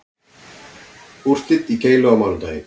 Úrslit í keilu á mánudaginn